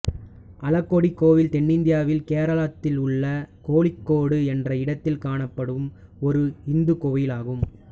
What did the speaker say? அழகொடி கோவில் தென்னிந்தியாவில் கேரளத்திலுள்ள கோழிக்கோடு என்ற இடத்தில் காணப்படும் ஒரு இந்துக் கோவிலாகும்